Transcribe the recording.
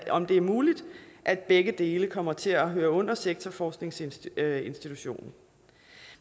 om det er muligt at begge dele kommer til at høre under sektorforskningsinstitutionen